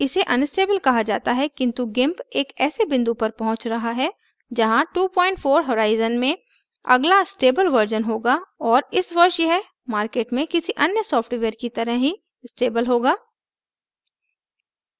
इसे unstable कहा जाता है किन्तु gimp एक ऐसे बिंदु पर पहुँच रहा है जहाँ 24 horizon में अगला stable version होगा और इस version यह market में किसी any सॉफ्टवेयर की तरह ही stable होगा